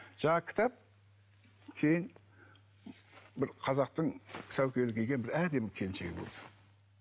жаңағы кітап кейін бір қазақтың сәукеле киген бір әдемі келіншегі болды